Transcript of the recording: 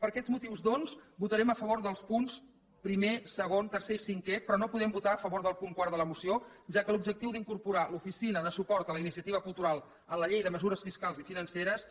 per aquests motius doncs votarem a favor dels punts primer segon tercer i cinquè però no podem votar a favor del punt quart de la moció ja que l’objectiu d’incorporar l’oficina de suport a la iniciativa cultural en la llei de mesures fiscals i financeres